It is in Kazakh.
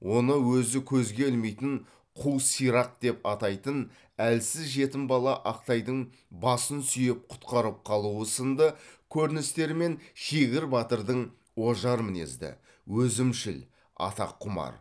оны өзі көзге ілмейтін қу сирақ деп атайтын әлсіз жетім бала ақтайдың басын сүйеп құтқарып қалуы сынды көріністермен шегір батырдың ожар мінезді өзімшіл атақ құмар